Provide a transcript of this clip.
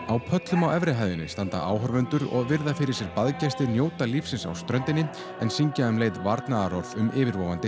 á pöllum á efri hæðinni standa áhorfendur og virða fyrir sér njóta lífsins á ströndinni en syngja um leið varnaðarorð um yfirvofandi